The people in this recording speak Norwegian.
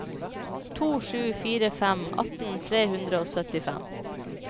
to sju fire fem atten tre hundre og syttifem